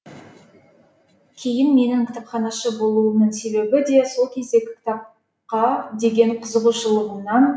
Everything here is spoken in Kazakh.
кейін менің кітапханашы болуымның себебі де сол кездегі кітапқа деген қызығушылығымнан